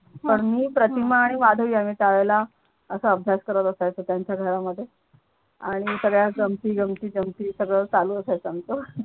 पण मी प्रतिमा आणि माधवी आम्ही त्यावेळेला असा अभ्यास करत बसायचो त्यांच्या घरामध्ये आणि सगळ्या गमती जमती जमती सगळं चालू असायचा आमचं.